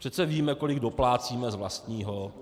Přece víme, kolik doplácíme z vlastního.